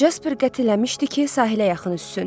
Jasper qətiləmişdi ki, sahilə yaxın üzsün.